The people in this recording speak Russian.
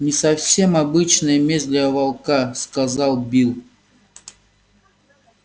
не совсем обычная месть для волка сказал билл